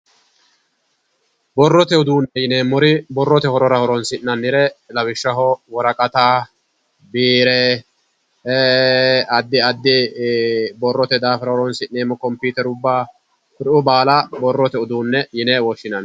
Borrote uduunne yineemmori borrote horora horonsi'nannire lawishshaho woraqata biire addi addi borrote daafira horonsi'neemmo kompiiterubba kuriuu baala borrote uduunne yine woshhinanni.